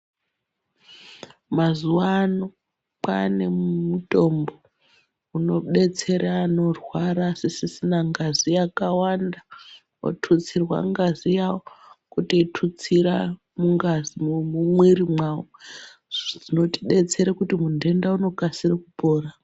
Mazuwa ano kwane mutombo unodetsere anorwara asisisina ngazi yakawanda otutsirwa ngazi yawo kutoitutsira mumwiri mwawo zvinotodetsera kuti muntenda unokasira kupora.